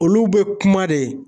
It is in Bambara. Olu be kuma de